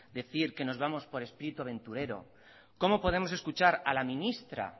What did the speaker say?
decir que nos vamos por espíritu aventurero cómo podemos escuchar a la ministra